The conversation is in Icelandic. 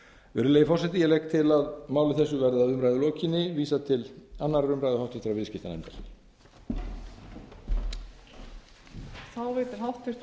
virðulegi forseti ég legg til að máli þessu verði að umræðu lokinni vísað til annarrar umræðu og háttvirtur viðskiptanefndar